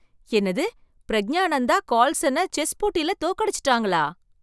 என்னது பிரக்ஞானந்தா கார்ல்சனை செஸ் போட்டியில தோக்கடிச்சிட்டாங்களா!